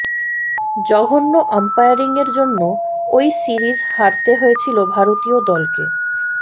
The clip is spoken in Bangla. জঘন্য আম্পায়ারিংয়ের জন্য ওই সিরিজ হারতে হয়েছিল ভারতীয় দলকে